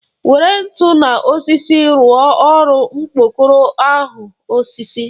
Were ntu na osisi rụọrọ m okpokoro ahụ ọsịsọ!